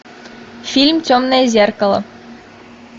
фильм темное зеркало